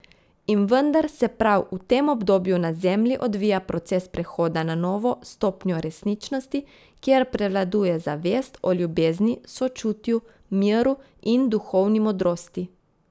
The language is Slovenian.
In vendar se prav v tem obdobju na Zemlji odvija proces prehoda na novo stopnjo resničnosti, kjer prevladuje zavest o ljubezni, sočutju, miru in duhovni modrosti.